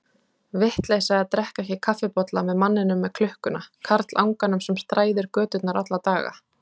Vitleysa að drekka ekki kaffibolla með manninum með klukkuna, karlanganum sem þræðir göturnar alla daga.